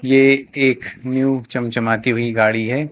ये एक न्यू चमचमाती हुई गाड़ी है।